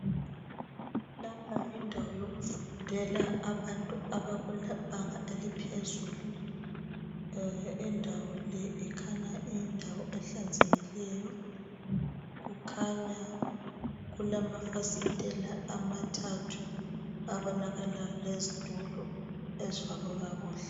Lapha yindawo yokufundela abantu abakubanga eliphezulu. Indawo le ikhanya iyindawo ehlanzekileyo. Kukhanya kulamafasitela amathathu abonakala lezitulo ezifakwe kakuhle.